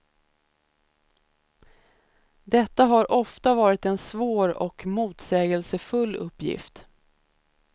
Detta har ofta varit en svår och motsägelsefull uppgift.